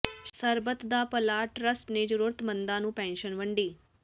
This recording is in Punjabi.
ਸਰਬੱਤ ਦਾ ਭਲਾ ਟਰੱਸਟ ਨੇ ਜ਼ਰੂਰਤਮੰਦਾਂ ਨੂੰ ਪੈਨਸ਼ਨ ਵੰਡੀ